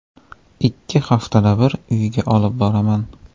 Ikki haftada bir uyga olib boraman.